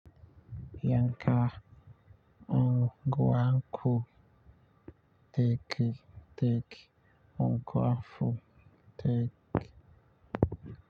Yanka unguwanku take take ungu afu take.